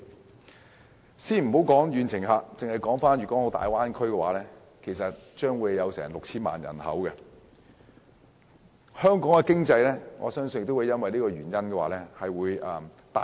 我們暫且不談遠程旅客，單單粵港澳大灣區也有 6,000 萬人口，我相信香港經濟也會被大灣區帶動。